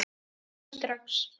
Þarf að hitta hann strax.